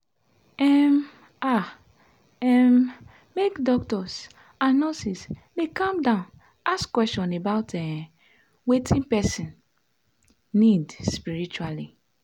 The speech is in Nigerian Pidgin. um ah um make doctors and nurses dey calm down ask question about um wetin person need spritually.